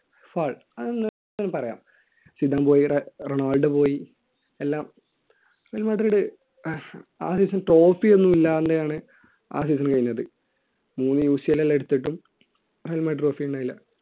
fall അതൊന്നും പറയാം Ronaldo പോയി എല്ലാം റയൽ മാഡ്രിഡ് trophy ഒന്നുമില്ലാണ്ട് ആണ് ആ season കഴിഞ്ഞത് മൂന്ന് UCL എല്ലാം എടുത്തിട്ടും റയൽ മാഡ്രിഡ് trophy ഉണ്ടായില്ല